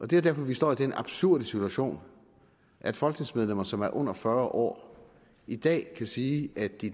det er derfor vi står i den absurde situation at folketingsmedlemmer som er under fyrre år i dag kan sige at de